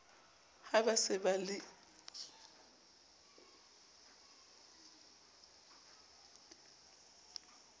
ha ba se ba le